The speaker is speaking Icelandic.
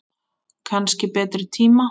Kannski betri tíma.